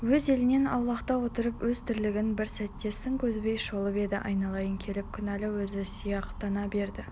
өз елінен аулақта отырып өз тірлігін бір сәт сын көзбен шолып еді айналып келіп күнәлі өзі сияқтана берді